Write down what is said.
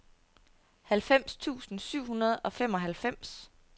halvfems tusind syv hundrede og femoghalvfems